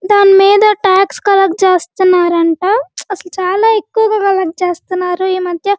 దాని మీద tax collect చేస్తున్నారు అంట అసలు చాలా ఎక్కువగా కల్లెక్ట్ చేస్తున్నారు ఈ మధ్య --